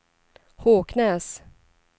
Håknäs